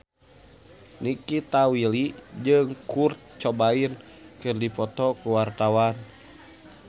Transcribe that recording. Nikita Willy jeung Kurt Cobain keur dipoto ku wartawan